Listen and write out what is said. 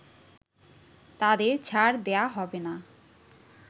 তাদের ছাড় দেয়া হবে না